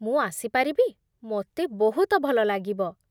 ମୁଁ ଆସିପାରିବି? ମୋତେ ବହୁତ ଭଲ ଲାଗିବ ।